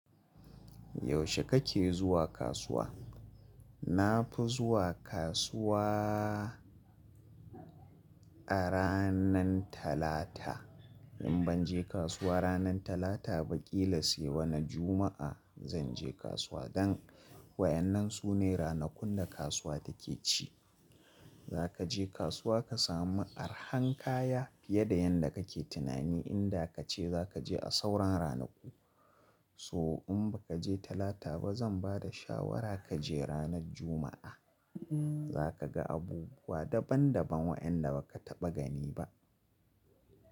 Yaushe kake zuwa kasuwa? Na fi zuwa kasuwa a ranan Talata. In ban je kasuwa ranan Talata ba, ƙila sai wani Juma'a zan je kasuwa. Don waɗannan su ne ranakun da kasuwa take ci. Za ka je kasuwa ka samu arhan kaya fiye da yadda kake tunani inda ka ce za ka je a sauran ranaku. So in ba ka je Talata ba, zan ba da shawara ka je ranar Juma'a. Za ka ga abubuwa daban-daban waɗanda ba ka taɓa gani ba.